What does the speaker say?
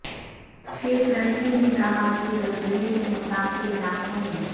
شیخ رشید نے کہا کہ زلزلے سے متاثرہ علاقوں میں